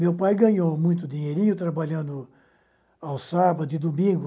Meu pai ganhou muito dinheirinho trabalhando ao sábado e domingo,